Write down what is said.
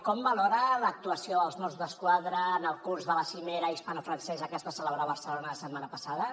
com valora l’actuació dels mossos d’esquadra en el curs de la cimera hispanofrancesa que es va celebrar a barcelona la setmana passada